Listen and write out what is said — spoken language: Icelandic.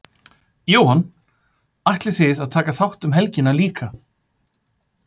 Jóhann: Ætlið þið að taka þátt um helgina líka?